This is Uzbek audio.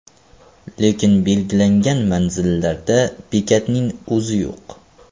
Lekin belgilangan manzillarda bekatning o‘zi yo‘q.